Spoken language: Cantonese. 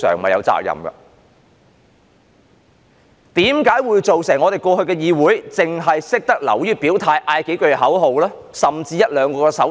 為甚麼過去的議會會變成只流於表態、喊口號，甚至作出一兩個手勢？